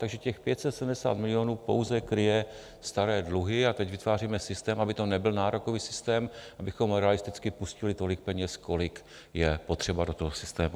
Takže těch 570 milionů pouze kryje staré dluhy a teď vytváříme systém, aby to nebyl nárokový systém, abychom realisticky pustili tolik peněz, kolik je potřeba, do toho systému.